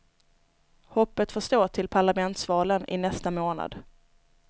Hoppet får stå till parlamentsvalen i nästa månad.